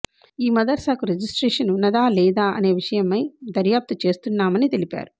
ఈ మదర్సాకు రిజిస్ట్రేషన్ ఉన్నదా లేదా అనే విషయమై దర్యాప్తు చేస్తున్నామని తెలిపారు